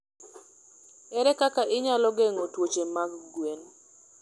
Ere kaka inyalo geng'o tuoche mag gwen?